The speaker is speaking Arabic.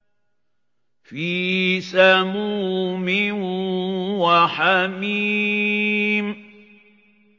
فِي سَمُومٍ وَحَمِيمٍ